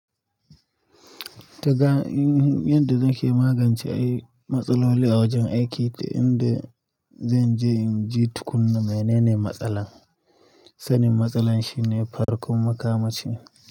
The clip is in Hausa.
Dkga in, inda nake magance ai matsaloli a wajen aiki da inda zan je in ji tukunna menene matsalar. Sanin matsalar shine farkon makamashi.